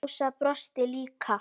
Ása brosir líka.